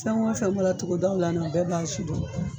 Fɛn o fɛn bɔɔra togodaw la u bɛɛ b'a sidon.